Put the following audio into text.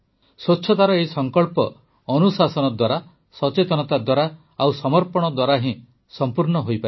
ସ୍ୱଚ୍ଛତାର ଏହି ସଙ୍କଳ୍ପ ଅନୁଶାସନ ଦ୍ୱାରା ସଚେତନତା ଦ୍ୱାରା ଓ ସମର୍ପଣ ଦ୍ୱାରା ହିଁ ସଂପୂର୍ଣ୍ଣ ହେବ